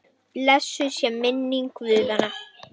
Hafdís og Baldur.